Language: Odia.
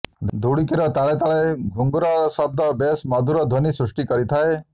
ଧୁଡୁକିର ତାଳେ ତାଳେ ଘୁଙ୍ଗୁରର ଶବ୍ଦ ବେଶ ମଧୁର ଧ୍ୱନୀ ସୃଷ୍ଟିକରିଥାଏ